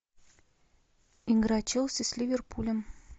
игра челси с ливерпулем